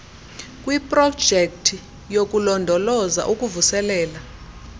kwiprojekthi yokulondoloza ukuvuselela